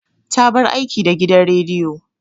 Ta bar aiki da gidan rediyo.